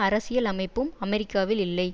அரசியல் அமைப்பும் அமெரிக்காவில் இல்லை